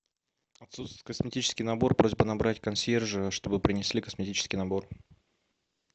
отсутствует косметический набор просьба набрать консьержа чтобы принесли косметический набор